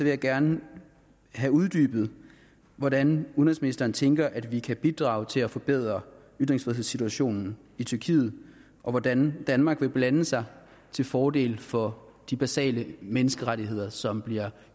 jeg gerne have uddybet hvordan udenrigsministeren tænker sig at vi kan bidrage til at forbedre ytringsfrihedssituationen i tyrkiet og hvordan danmark vil blande sig til fordel for de basale menneskerettigheder som bliver